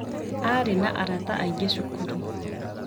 Aarĩ na arata aingĩ cukuru.